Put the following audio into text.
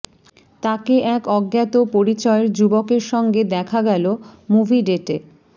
তাঁকে এক অজ্ঞাত পরিচয়ের যুবকের সঙ্গে দেখা গেল মুভি ডেটে